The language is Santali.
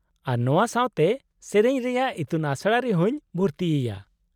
-ᱟᱨ ᱱᱚᱶᱟ ᱥᱟᱶᱛᱮ ᱥᱮᱹᱨᱮᱹᱧ ᱨᱮᱭᱟᱜ ᱤᱛᱩᱱᱟᱥᱲᱟ ᱨᱮᱦᱚᱸᱧ ᱵᱷᱩᱨᱛᱤᱭᱮᱭᱟ ᱾